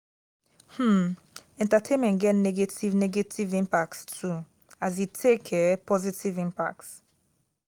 um entertainment get negative negative impacts too as e take um positive impacts